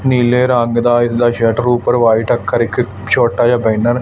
ਨੀਲੇ ਰੰਗ ਦਾ ਇਸ ਦਾ ਸ਼ਟਰ ਉੱਪਰ ਵਾਈਟ ਅੱਖਰ ਇੱਕ ਛੋਟਾ ਜਿਹਾ ਬੈਨਰ --